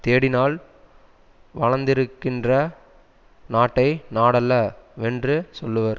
தேடினால் வளந்திருக்கின்ற நாட்டை நாடல்ல வென்று சொல்லுவர்